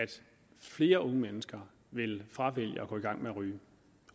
flere unge mennesker vil fravælge at gå i gang med at ryge